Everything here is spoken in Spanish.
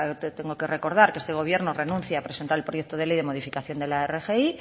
tengo que recordar que este gobierno renuncia a presentar el proyecto de ley de modificación de la rgi